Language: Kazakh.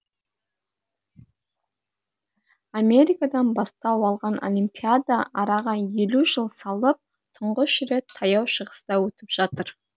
америкадан бастау алған олимпиада араға елу жыл салып тұңғыш рет таяу шығыста өтіп жатыр